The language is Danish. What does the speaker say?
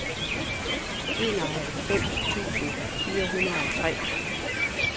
enoghalvfems tusind fire hundrede og tre